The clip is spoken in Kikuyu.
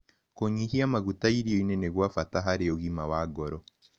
Kũnyĩhĩa magũta irionĩ nĩ gwa bata harĩ ũgima wa ngoro